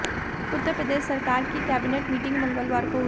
उत्तर प्रदेश सरकार की cabinet meeting मंगलवार को हुई